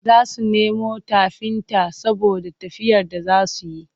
Za su nemo tafinta saboda tafiyar da za su yi.